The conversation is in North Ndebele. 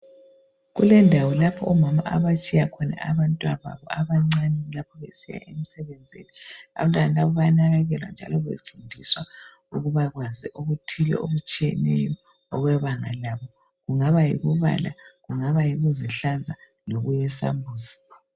Kulendawo lapho omama abatshiya khona abantwababo abancane lapho besiya emsebenzini. Abantwana laba bayanakekelwa njalo befundiswa ukubakwazi okuthile okutshiyeneyo okwebanga labo. Kungaba yokubala, kungaba yikuzihlanza lokuyesambuzi.